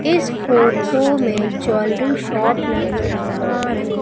इस फोटो में jewellery shop नजर आ रही--